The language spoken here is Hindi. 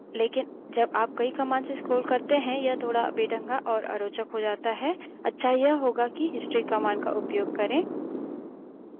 लेकिन जब आप कई commands से scroll करते हैं यह थोड़ बेढंगा और अरोचक हो जाता है अच्छा यह होगा कि history commands का उपयोग करें